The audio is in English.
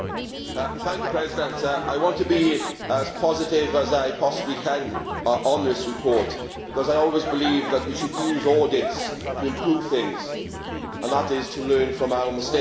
Madam President, I want to be as positive as I possibly can about this report, because I always believe that we should use audits to improve things and to learn from our mistakes.